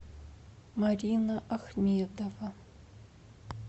марина ахмедова